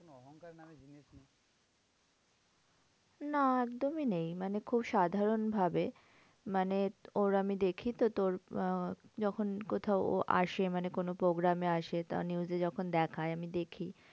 না একদমই নেই মানে খুব সাধারণ ভাবে মানে ওর আমি দেখিতো তোর আহ যখন কোথাও ও আসে মানে কোনো program এ আসে। তো news এ যখন দেখায় আমি দেখি